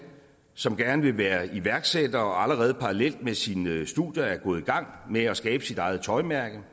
som gerne vil være iværksætter og som parallelt med sine studier er gået i gang med at skabe sit eget tøjmærke